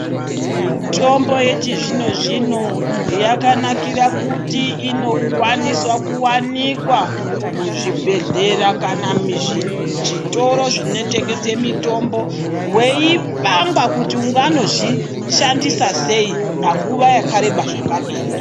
Mitombo yechizvino zvino yakanakira kuti inokwanisa kuwanikwa muzvibhedhlera kana muzvitoro zvinotengesa mitomboweipangwa kuti unganozvishandisa sei panguva yakareba zvakadini.